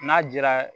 N'a dira